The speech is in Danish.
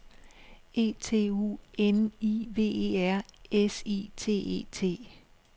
E T U N I V E R S I T E T